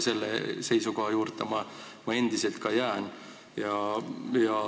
Selle seisukoha juurde ma endiselt ka jään.